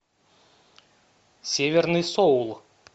северный соул